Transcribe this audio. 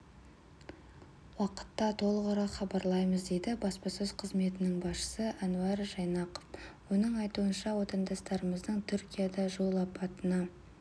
уақытта толығырақ хабарлаймыз дейді баспасөз қызметінің басшысы әнуар жайнақов оның айтуынша отандастарымыздың түркияда жол апатына